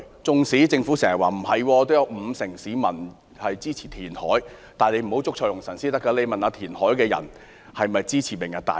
即使政府經常否認，說有五成市民支持填海，但政府不應捉錯用神，而應詢問支持填海的人是否支持"明日大嶼"。